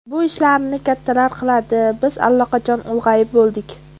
Bu ishlarni kattalar qiladi, biz allaqachon ulg‘ayib bo‘ldik.